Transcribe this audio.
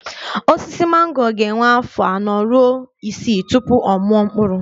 Osisi mango ga-ewe afọ anọ ruo isii tupu ọ mụọ mkpụrụ